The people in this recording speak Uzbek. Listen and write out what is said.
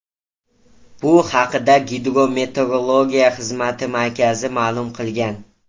Bu haqda Gidrometeorologiya xizmati markazi ma’lum qilgan .